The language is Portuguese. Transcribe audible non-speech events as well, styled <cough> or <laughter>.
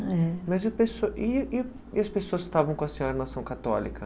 É... Mas <unintelligible> e e e as pessoas que estavam com a senhora na ação católica?